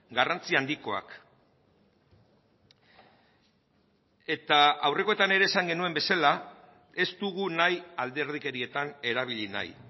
garrantzi handikoak eta aurrekoetan ere esan genuen bezala ez dugu nahi alderdikerietan erabili nahi